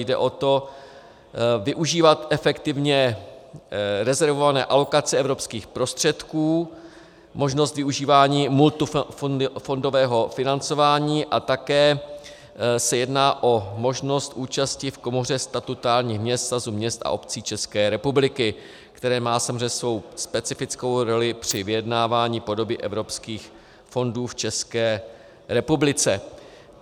Jde o to využívat efektivně rezervované alokace evropských prostředků, možnost využívání multifondového financování a také se jedná o možnost účasti v Komoře statutárních měst Svazu měst a obcí České republiky, která má samozřejmě svou specifickou roli při vyjednávání podoby evropských fondů v České republice.